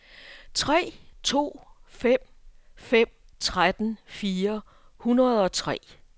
tre to fem fem tretten fire hundrede og tre